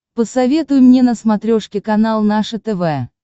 посоветуй мне на смотрешке канал наше тв